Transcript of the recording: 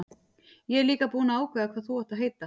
Ég er líka búinn að ákveða hvað þú átt að heita.